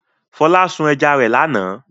Fọlá sun ẹja rẹ̀ lánàá.